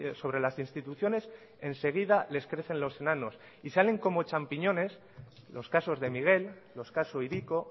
sobre las instituciones enseguida les crecen los enanos y salen como champiñones los casos de miguel los casos hiriko